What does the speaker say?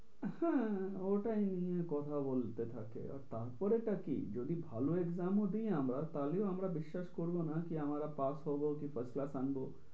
হ্যাঁ ওইটা নিয়েই কথা বলতে থাকে। তারপরে টা কি যদি ভালো exam ও দিই আমরা তাহলে আমরা বিশ্বাস করবো না কী আমরা pass হব কী first class আনব।